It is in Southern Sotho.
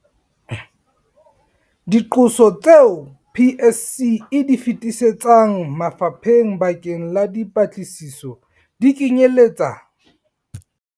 Diqoso tseo PSC e di feti setsang mafapheng bakeng la dipatlisiso, di kenyeletsa.